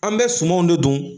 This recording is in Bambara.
An bɛ sumanw de don